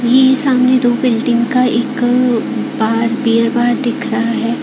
ये सामने दो बिल्डिंग का एक बार बीयर बार दिख रहा है।